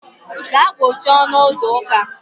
Gaa kpochie ọnụ ụzọ ụka.